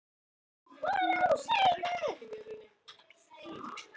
Það er atlaga að lýðræðinu, skal ég segja þér, gusar mamma yfir hann.